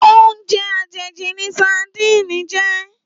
Óoùnjè àjéjí ni sádin jè